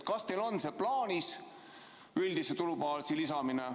Kas teil on plaanis üldist tulubaasi suurendada?